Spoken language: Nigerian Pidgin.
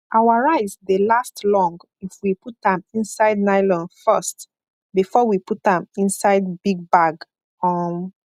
our rice dey last long if we put am inside nylon first before we put am inside big bag um